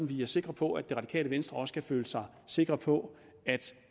vi er sikre på at det radikale venstre også kan føle sig sikre på at